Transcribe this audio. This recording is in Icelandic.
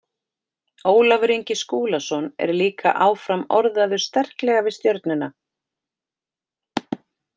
Ólafur Ingi Skúlason er líka áfram orðaður sterklega við Stjörnuna.